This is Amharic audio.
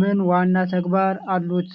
ምን ዋና ተግባራት አሉት?